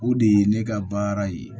O de ye ne ka baara ye